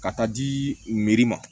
Ka taa di ma